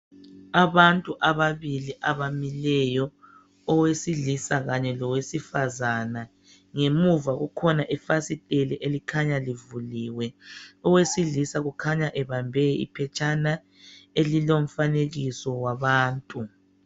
Abantu ababili abamileyo owesilisa kanye lowesifazane ngemuva kukhona ifasiteli elikhanya livuliwe owesilisa kukhanya ebambe iphetshana elilomfanekiso wabantu.